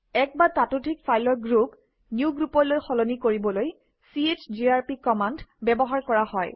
এক বা ততোধিক ফাইলৰ গ্ৰুপ newgroup লৈ সলনি কৰিবলৈ চিজিআৰপি কমাণ্ড ব্যৱহাৰ কৰা হয়